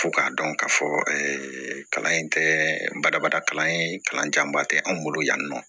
Fo k'a dɔn k'a fɔ kalan in tɛ badabada kalan ye kalan janba tɛ anw bolo yan nɔ